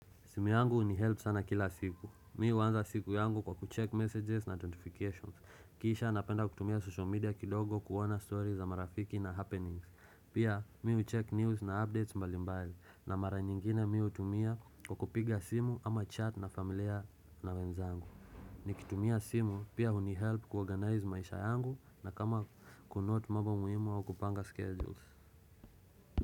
Simu yangu unihelp sana kila siku. Mi huanza siku yangu kwa kuchek messages na identifications. Kisha napenda kutumia social media kidogo kuona stories na marafiki na happenings. Pia mi uchek news na updates mbalimbali. Na mara nyingine mi hutumia kwa kupiga simu ama chat na familia na wenzangu. Nikitumia simu pia unihelp kuorganize maisha yangu na kama kunot mabo muhimu au kupanga schedules.